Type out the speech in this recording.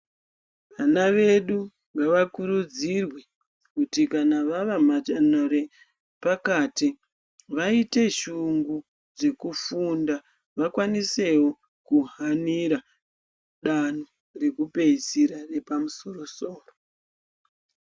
Vana vedu ngavakurudzirwe kuti kana vave padanto repakati vaite shungu dzekufunda vakwanisewo kuhanira danto rekupeisira repamu soro soro.